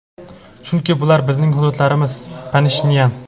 chunki bular bizning hududlarimiz – Pashinyan.